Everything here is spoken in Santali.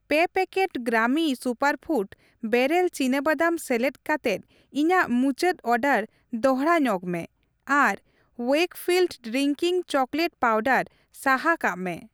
ᱯᱮ ᱯᱮᱠᱮᱴ ᱜᱨᱟᱢᱤ ᱥᱩᱯᱟᱨᱯᱷᱩᱰ ᱵᱮᱨᱮᱞ ᱪᱤᱱᱟ ᱵᱟᱫᱟᱢ ᱥᱮᱞᱮᱫ ᱠᱟᱛᱮᱫ ᱤᱧᱟᱜ ᱢᱩᱪᱟᱹᱫ ᱚᱰᱟᱨ ᱫᱚᱲᱦᱟ ᱧᱚᱜᱽ ᱢᱮ ᱟᱨ ᱣᱮᱠᱯᱷᱤᱞᱰ ᱰᱨᱤᱝᱠᱤᱝ ᱪᱚᱠᱞᱮᱴ ᱯᱟᱶᱰᱟᱨ ᱥᱟᱦᱟ ᱠᱟᱜ ᱢᱮ ᱾